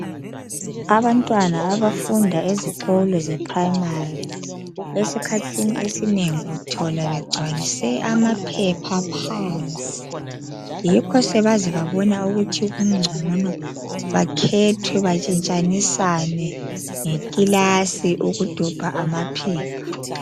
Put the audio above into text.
Abantwana abafunda ezikolo zeprimary esikhathini esinengi uthola begcwalise amaphepha phansi yikho sebaze babona ukuthi kungcono bakhethwe betshitshanisane ngekilas ukudobha amaphepha